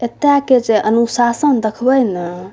एता के जे अनुशासन देखबे नेए।